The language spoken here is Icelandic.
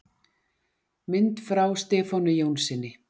Mynd frá Stefáni Jónssyni.